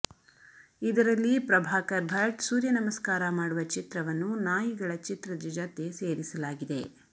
ಇದರಲ್ಲಿ ಪ್ರಭಾಕರ್ ಭಟ್ ಸೂರ್ಯ ನಮಸ್ಕಾರ ಮಾಡುವ ಚಿತ್ರವನ್ನು ನಾಯಿಗಳ ಚಿತ್ರದ ಜತೆ ಸೇರಿಸಲಾಗಿದೆ